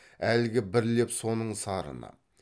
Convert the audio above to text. әлгі бір леп соның сарыны